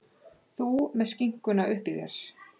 Þú með skinkuna uppí þér.